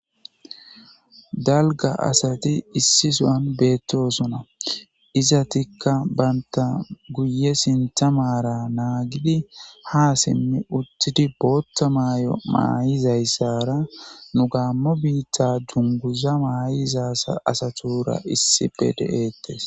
Dalgga asati issi sohan beettosona izatikka bantta guye sintta maara naagidi ha simmi uttidi bootta maayo maa7izyssara nu gaammo biitta junguza maayizasa asa asatuura issipe de7eettes.